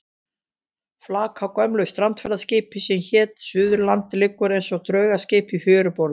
Flak af gömlu strandferðaskipi sem hét Suðurlandið liggur eins og draugaskip í fjöruborðinu.